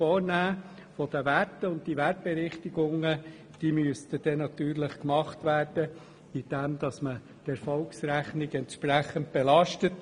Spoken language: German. Diese Wertkorrekturen müssten gemacht werden, indem man die Erfolgsrechnung entsprechend belastet.